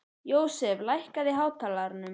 Jósef, lækkaðu í hátalaranum.